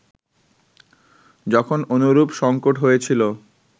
যখন অনুরূপ সঙ্কট হয়েছিল